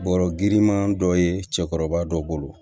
Bɔrɔ girinman dɔ ye cɛkɔrɔba dɔ bolo